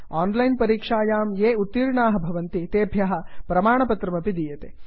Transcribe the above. on line परीक्षायां ये उत्तीर्णाः भवन्ति तेभ्यः प्रमाणपत्रमपि दीयते